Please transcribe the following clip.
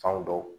Fan dɔw